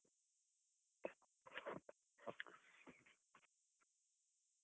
.